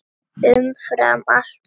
Umfram allt þetta fólk.